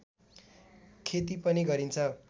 खेती पनि गरिन्छ